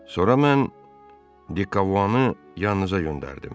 Sonra mən Dikovanı yanınıza göndərdim.